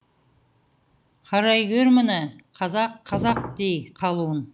қарай гөр мұны қазақ қазақ дей қалуын